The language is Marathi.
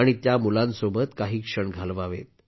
आणि त्या मुलांसोबत काही क्षण घालवा